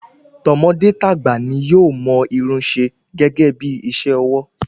Tọmọdé tagba ni yóò mọ Irun se gẹgẹ bí iṣẹ ọwọ́